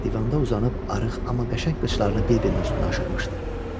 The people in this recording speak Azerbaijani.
Divanda uzanıb arıq, amma qəşəng baldırlarını bir-birinin üstünə aşırmışdı.